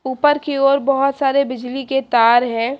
ऊपर की ओर बहोत सारे बिजली के तार है।